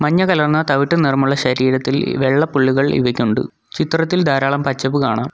മഞ്ഞ കലർന്ന തവിട്ട് നിറമുള്ള ശരീരത്തിൽ വെള്ള പുള്ളികൾ ഇവക്കുണ്ട് ചിത്രത്തിൽ ധാരാളം പച്ചപ്പ് കാണാം.